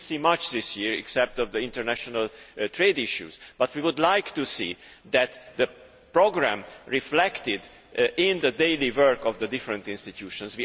We did not see much this year except in the international trade issues, but we would like to see the programme reflected in the daily work of the different institutions.